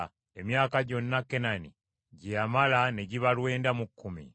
Emyaka gyonna Kenani gye yamala ne giba lwenda mu kkumi.